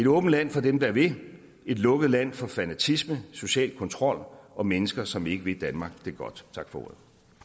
åbent land for dem der vil et lukket land for fanatisme social kontrol og mennesker som ikke vil danmark det godt tak for